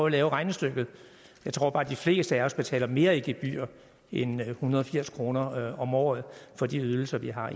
at lave regnestykket jeg tror bare de fleste af os betaler mere i gebyrer end en hundrede og firs kroner om året for de ydelser vi har